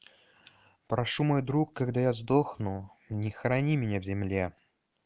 прошу мой друг когда я сдохну не хорони меня в земле